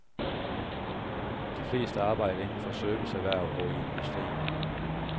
De fleste arbejder inden for serviceerhverv og i industrien.